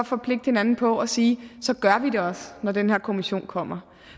forpligte hinanden på at sige så gør vi det også når den her kommission kommer